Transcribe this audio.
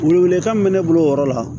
Welewelekan min bɛ ne bolo o yɔrɔ la